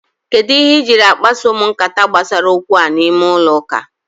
Kedụ ihe i jiri akpaso m nkata gbasara okwu a n'ime ụlọ ụka?